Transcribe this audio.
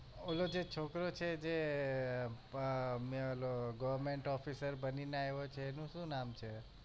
ઓલો જે છોકરો છે જે આહ મેં ઓલો goverment officer બનીને આયવો છે એનું શુ નામ છે?